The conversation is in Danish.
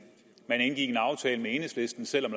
indgik en aftale med enhedslisten selv om